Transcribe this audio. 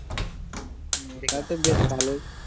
তাহলে তো বেশ ভালোই।